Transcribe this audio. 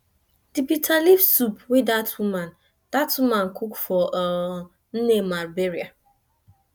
the bitter leaf soup wey dat woman dat woman cook for um nne ma burial